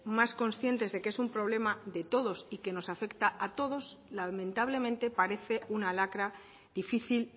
más conscientes de que es un problema de todos y que nos afecta a todos lamentablemente parece una lacra difícil